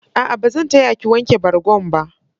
A'a, ba zan ta ya ki wanke bargon ba.